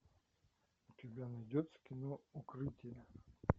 у тебя найдется кино укрытие